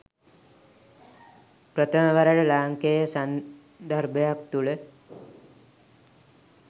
ප්‍රථම වරට ලාංකේය සන්දර්භයක් තුළ